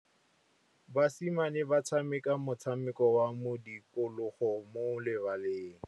Basimane ba tshameka motshameko wa modikologô mo lebaleng.